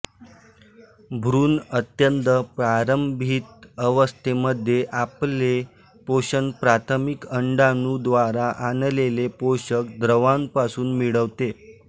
भ्रूण अत्यंत प्रारंभिक अवस्थे मध्ये अापले पोषण प्राथमिक अंडाणु द्वारा आणलेले पोषक द्रव्यांपासून मिळवतो